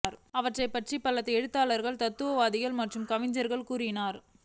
அவரை பற்றி பல எழுத்தாளர்கள் தத்துவவாதிகள் மற்றும் கவிஞர்கள் கூறினார்